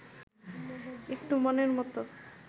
একটু মনের মত